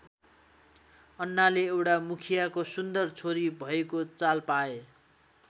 अन्नाले एउटा मुखियाको सुन्दर छोरी भएको चाल पाए।